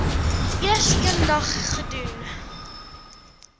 eers eendag gedoen